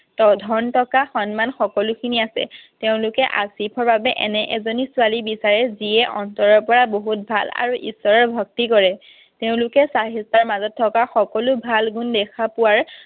ধন টকা সন্মান সকলোখিনি আছে। তেঁওলোকে আছিফৰ বাবে এনে এজনী ছোৱালী বিচাৰে, যিয়ে অন্তৰৰ পৰা বহুত ভাল আৰু ঈশ্বৰৰ ভক্তি কৰে। তেওঁলোকে চাহিষ্ঠাৰ মাজত থকা সকলো ভাল গুণ দেখা পোৱাৰ